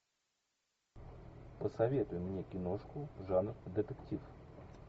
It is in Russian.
посоветуй мне киношку жанр детектив